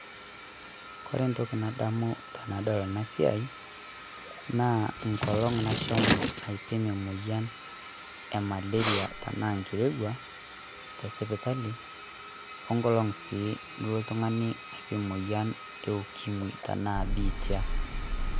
Kore entoki nadamu tenadol ena siai naa enkolong' nashomo aipim emoyian e malaria tenaa enkirewua te sipitali, we enkolong' sii nilo oltung'ani aipim emoyian e ukimwi te naa biitia.